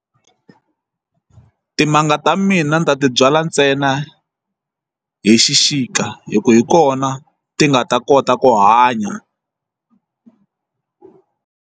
Timanga ta mina ni ta ti byala ntsena hi xixika hi ku hi kona ti nga ta kota ku hanya.